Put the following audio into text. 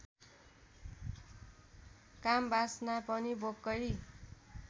कामवासना पनि भोककै